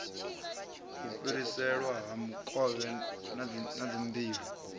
fhiriselwa ha mikovhe na dzimbilo